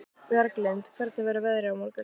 Bjarglind, hvernig verður veðrið á morgun?